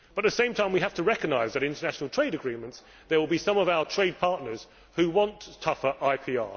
But at the same time we have to recognise that in international trade agreements there will be some of our trade partners who want tougher IPR